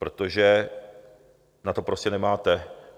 Protože na to prostě nemáte.